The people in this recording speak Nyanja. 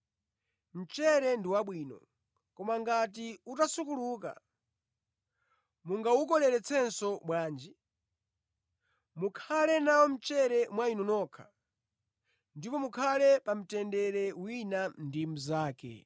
“Mchere ndi wabwino, koma ngati utasukuluka, mungawukoleretsenso bwanji? Mukhale nawo mchere mwa inu nokha, ndipo mukhale pa mtendere wina ndi mnzake.”